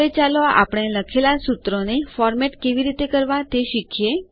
હવે ચાલો આપણે લખેલા સૂત્રોને ફોરમેટરચના શૈલીકેવી રીતે કરવા તે શીખીએ